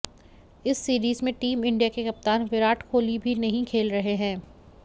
इस सीरीज में team India के कप्तान विराट कोहली भी नहीं खेल रहे हैं